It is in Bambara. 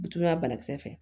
Bitɔn ya banakisɛ fɛ